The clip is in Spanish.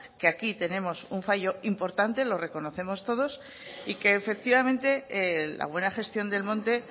que aquí tenemos un fallo importante lo reconocemos todos y que efectivamente la buena gestión del monte